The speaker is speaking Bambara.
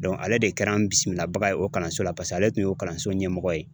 ale de kɛra n bisimila baga ye o kalanso la .Paseke ale tun ye kalanso ɲɛmɔgɔ. ye